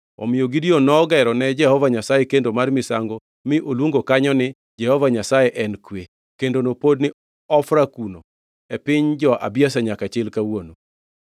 Omiyo Gideon nogero ne Jehova Nyasaye kendo mar misango mi oluongo kanyo ni Jehova Nyasaye en Kwe. Kendono pod ni Ofra kuno e piny jo-Abiezer nyaka chil kawuono.